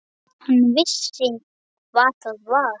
Hann vissi hvað það var.